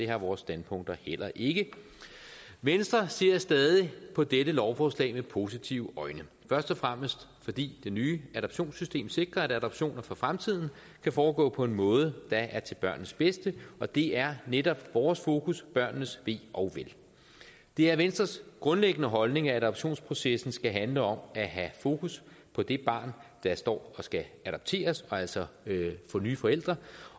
har vores standpunkter heller ikke venstre ser stadig på dette lovforslag med positive øjne først og fremmest fordi det nye adoptionssystem sikrer at adoptioner for fremtiden kan foregå på en måde der er til børnenes bedste og det er netop vores fokus børnenes ve og vel det er venstres grundlæggende holdning at adoptionsprocessen skal handle om at have fokus på det barn der står og skal adopteres altså få nye forældre